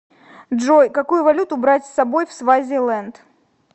джой какую валюту брать с собой в свазиленд